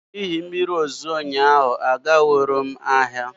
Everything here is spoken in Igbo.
N'ihi mmiri ozuzo ụnyaahụ aganwuro m ahịa